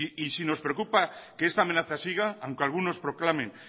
si nos preocupa que esta amenaza siga aunque alguno proclamen